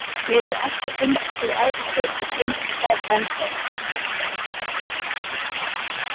Mér hefur alltaf fundist þú æðisleg og finnst það enn þá.